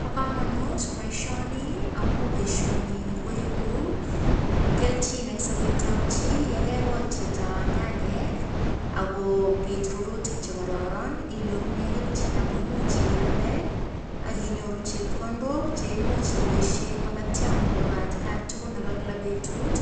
Ba kamanut baishoni amun baishoni ko kelchin en Sabet ab chi en yegegol chi Chito nyanyekakobit rururtik chekororon inyorunei kelchin koimuchi iyalde akinyoru chepkondok cheimuch ibaishen makatiangung Nebo atkan tugul Nebo betut